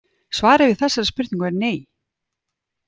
Svarið við þessari spurningu er nei.